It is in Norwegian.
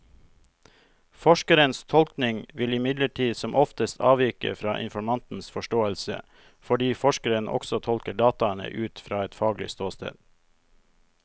Forskerens tolkning vil imidlertid som oftest avvike fra informantens forståelse, fordi forskeren også tolker dataene ut fra et faglig ståsted.